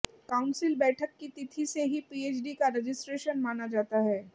council बैठक की तिथि से ही पीएचडी का रजिस्ट्रेशन माना जाता है